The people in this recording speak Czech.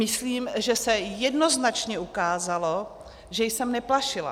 Myslím, že se jednoznačně ukázalo, že jsem neplašila.